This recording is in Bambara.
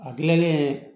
A gilannen